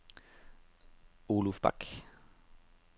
Oluf Bak